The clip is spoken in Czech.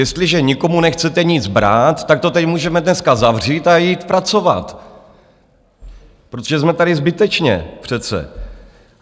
Jestliže nikomu nechcete nic brát, tak to tady můžeme dneska zavřít a jít pracovat, protože jsme tady zbytečně přece.